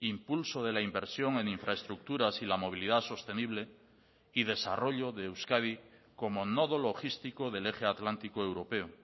impulso de la inversión en infraestructuras y la movilidad sostenible y desarrollo de euskadi como nodo logístico del eje atlántico europeo